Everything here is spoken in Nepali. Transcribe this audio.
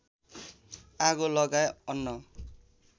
आगो लगाए अन्न